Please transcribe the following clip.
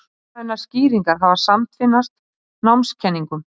Hugrænar skýringar hafa samtvinnast námskenningum.